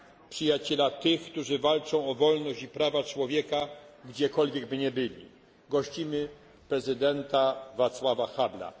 Przyjaciela tych, którzy walczą o wolność i prawa człowieka, gdziekolwiek by nie byli gościmy prezydenta Václava Havla.